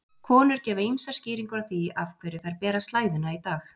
Konur gefa ýmsar skýringar á því af hverju þær bera slæðuna í dag.